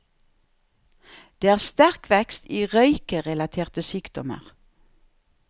Det er sterk vekst i røykerelaterte sykdommer.